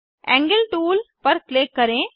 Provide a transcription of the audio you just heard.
angle tool पर click करें